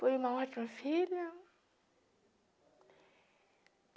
Fui uma ótima filha.